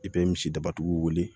I bɛ misi daba tigiw wele